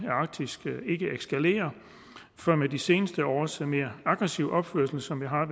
af arktis ikke eskalerer for med de seneste års mere aggressive opførsel som jeg har